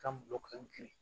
Ka muso ka kirin